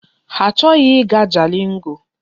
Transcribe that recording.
Ha achọghị ịga Jalingo.